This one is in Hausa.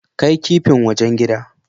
Kai kipin wajen gida.